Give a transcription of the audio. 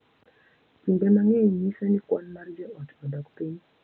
Kinde mang’eny nyiso ni kwan mar jo ot odok piny,